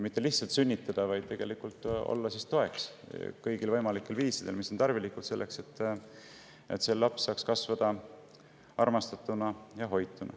Mitte lihtsalt selleks, et sündida, vaid pakkuda kõikvõimalikku tuge, mis on tarvilik selleks, et see laps saaks kasvada armastatuna ja hoituna.